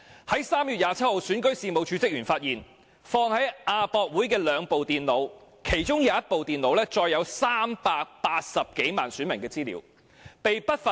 在3月27日，選舉事務處職員發現，放在亞洲國際博覽館的兩部電腦被不法分子偷走，其中一部載有380多萬名選民資料。